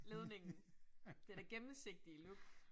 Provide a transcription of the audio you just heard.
Ledningen. Det der gennemsigtige look